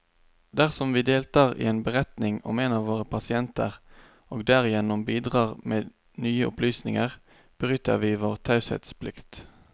Dersom vi deltar i en beretning om en av våre pasienter, og derigjennom bidrar med nye opplysninger, bryter vi vår taushetsplikt.